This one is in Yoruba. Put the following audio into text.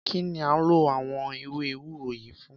Kí ni a ń lò àwọn ewé ewúro yìí fún?